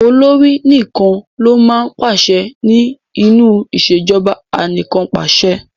Olórí nìkan ló máa ń pàse ní nínú ìṣèjọba anìkànpàṣẹ.